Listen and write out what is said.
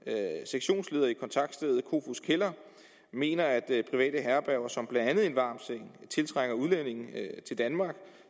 er sektionsleder i kontaktstedet kofoeds kælder mener at private herberger som blandt andet en varm seng tiltrækker udlændinge til danmark